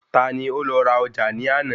Ta ni ó lọ ra ọjà ní àná